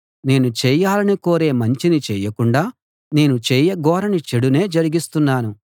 నేను చేయాలని కోరే మంచిని చేయకుండా నేను చేయగోరని చెడును జరిగిస్తున్నాను